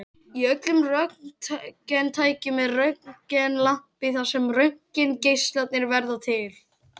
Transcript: Í öllum röntgentækjum er röntgenlampi þar sem röntgengeislarnir verða til.